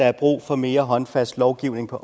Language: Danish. er brug for mere håndfast lovgivning på